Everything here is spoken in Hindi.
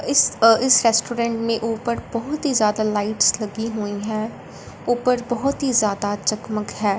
इस अह इस रेस्टोरेंट में ऊपर बहुत ही ज्यादा लाइट्स लगी हुई हैं ऊपर बहुत ही ज्यादा जगमग है।